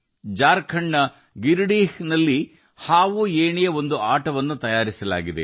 ಜಾರ್ಖಂಡ್ನ ಗಿರಿದಿಹ್ ನಲ್ಲಿ ಹಾವುಏಣಿ ಆಟವನ್ನು ಸಿದ್ಧಪಡಿಸಲಾಗಿದೆ